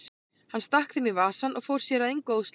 Hann stakk þeim í vasann og fór sér að engu óðslega.